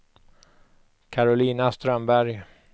Karolina Strömberg